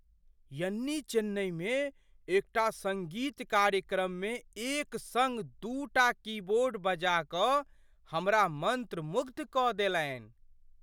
यन्नी चेन्नइमे एकटा सङ्गीत कार्यक्रममे एक सङ्ग दूटा कीबोर्ड बजा कऽ हमरा मन्त्रमुग्ध कऽ देलनि।